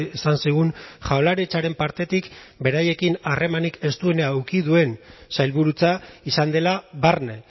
esan zigun jaurlaritzaren partetik beraiekin harremanik estuena eduki duen sailburutza izan dela barne